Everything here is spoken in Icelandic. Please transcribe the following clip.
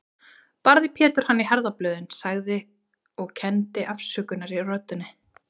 Barði Pétur hann í herðablöðin, sagði, og kenndi afsökunar í röddinni